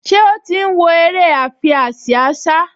Ṣé ó ti ń wo eré àfiásíásá?